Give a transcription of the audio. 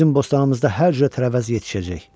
Bizim bostanımızda hər cürə tərəvəz yetişəcək.